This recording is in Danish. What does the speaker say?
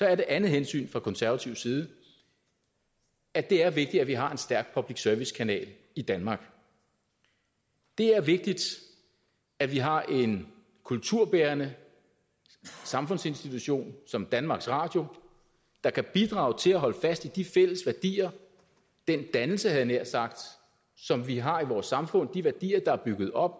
er det andet hensyn fra konservatives side at det er vigtigt at vi har en stærk public service kanal i danmark det er vigtigt at vi har en kulturbærende samfundsinstitution som danmarks radio der kan bidrage til at holde fast i de fælles værdier den dannelse havde jeg nær sagt som vi har i vores samfund de værdier der er bygget op